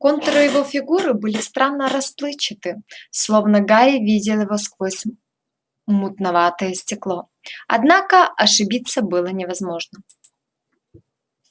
контуры его фигуры были странно расплывчаты словно гарри видел его сквозь мутноватое стекло однако ошибиться было невозможно